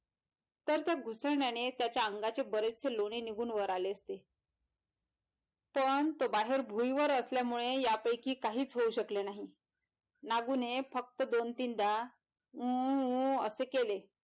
तर त्या घुसळण्याने त्याच्या अंगाचे बरेजसे लोणे निघून वराळे असते तोन तो बाहेर भुईवर असल्यामुळे यापैकी काहीच होऊ शकले नाही मागून फक्त दोन तीनदा ऊ ऊ असे केले.